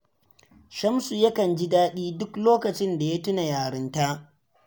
Shamsu yakan ji daɗi duk lokacin da ya tuna yarinta